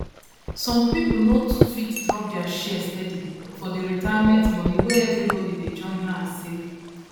some people no too fit drop their share steady for the retirement money wey everybody dey join hand save